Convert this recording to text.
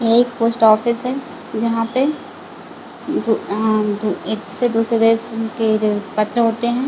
एक post office है यहाँ पे उम्ह उम्म एक से दो सौ दस के पत्र होते हैं।